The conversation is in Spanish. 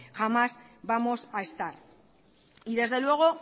jamás vamos a estar desde luego